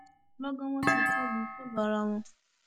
lọgán wọn tí kò lu kò lu ara wọn